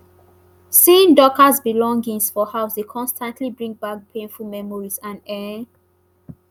seeing dorcas belongings for house dey constantly bring back painful memories and e